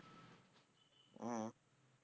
உம்